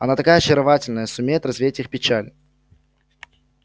она такая очаровательная сумеет развеять их печаль